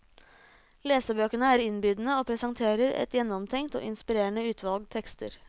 Lesebøkene er innbydende, og presenterer et gjennomtenkt og inspirerende utvalg tekster.